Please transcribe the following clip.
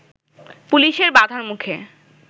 পুলিশের বাঁধার মুখে